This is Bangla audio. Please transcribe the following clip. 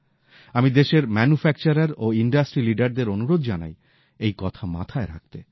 আমি দেশের উৎপাদক ও প্রথম সারির শিল্প সংস্থাগুলিকে অনুরোধ জানাই এই কথা মাথায় রাখতে